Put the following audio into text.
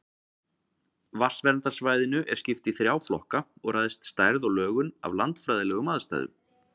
Vatnsverndarsvæðinu er skipt í þrjá flokka og ræðst stærð og lögun af landfræðilegum aðstæðum.